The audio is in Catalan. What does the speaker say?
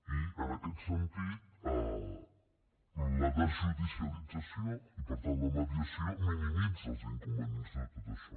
i en aquest sentit la desjudicialització i per tant la mediació minimitza els inconvenients de tot això